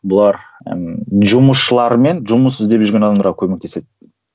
бұлар ыыы жұмысшылар мен жұмыс іздеп жүрген адамдарға көмектеседі